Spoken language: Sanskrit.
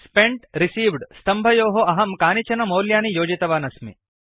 स्पेन्ट् रिसीव्ड स्तम्भयोः कलम् अहं कानिचन मौल्यानि योजितवानस्मि